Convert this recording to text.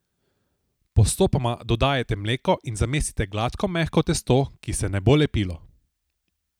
Postopoma dodajajte mleko in zamesite gladko mehko testo, ki se ne bo lepilo.